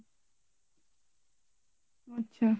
আচ্ছা